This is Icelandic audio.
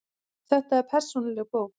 Þetta er persónuleg bók.